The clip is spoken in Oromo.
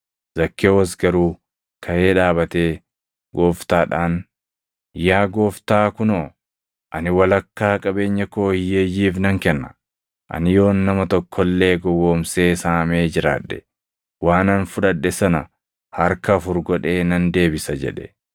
Zakkewoos garuu kaʼee dhaabatee Gooftaadhaan, “Yaa Gooftaa kunoo, ani walakkaa qabeenya koo hiyyeeyyiif nan kenna; ani yoon nama tokko illee gowwoomsee saamee jiraadhe, waanan fudhadhe sana harka afur godhee nan deebisa” jedhe.